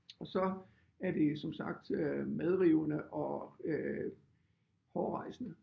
Og så er det som sagt øh medrivende og øh hårrejsende